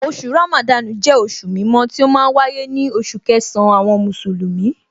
Oṣù Ramadan jẹ́ oṣù mímọ́ tí ó ma ń wáyé ní oṣù kẹsàn-án àwọn Mùsùlùmí